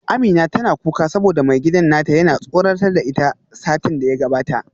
Amina tana kuka saboda maigidan nata yana tsoratar da ita satin da ya gabata